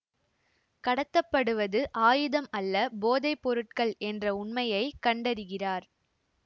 கடத்தப்படுவது ஆயுதம் அல்ல போதை பொருட்கள் என்ற உண்மையை கண்டறிகிறார்